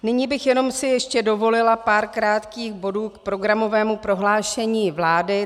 Nyní bych si jenom ještě dovolila pár krátkých bodů k programovému prohlášení vlády.